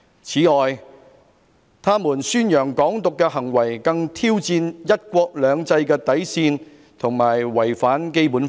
此外，他們宣揚'港獨'的行為更挑戰'一國兩制'的底線和違反《基本法》。